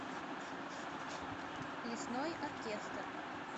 лесной оркестр